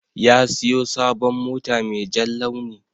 Ya siyo sabon mota mai jan launi.